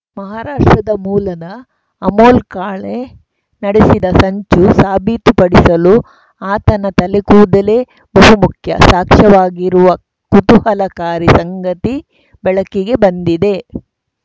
ಮಹಾರಾಷ್ಟ್ರದ ಮೂಲದ ಅಮೋಲ್‌ ಕಾಳೆ ನಡೆಸಿದ ಸಂಚು ಸಾಬೀತುಪಡಿಸಲು ಆತನ ತಲೆಗೂದಲೇ ಬಹುಮುಖ್ಯ ಸಾಕ್ಷ್ಯವಾಗಿರುವ ಕುತೂಹಲಕಾರಿ ಸಂಗತಿ ಬೆಳಕಿಗೆ ಬಂದಿದೆ